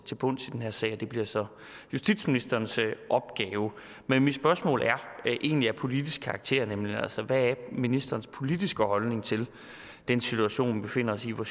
bunds i den her sag og det bliver så justitsministerens opgave men mit spørgsmål er egentlig af politisk karakter nemlig hvad er ministerens politiske holdning til den situation vi befinder os i hvor